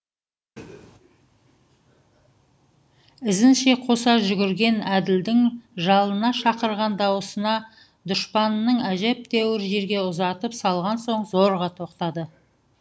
ізінше қоса жүгірген әділдің жалына шақырған даусына дұшпанын әжептәуір жерге ұзатып салған соң зорға тоқтады